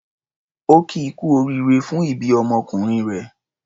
Ó kí i kú oríire fún ìbí ọmọkùnrin rẹ̀.